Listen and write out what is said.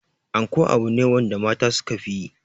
Anko abu ne wanda mata suka fi yi.